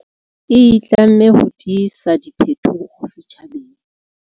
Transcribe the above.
E itlamme ho tisa diphetoho setjhabeng.